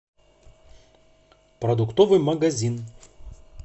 продуктовый магазин